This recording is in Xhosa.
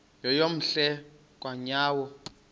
yeyom hle kanyawo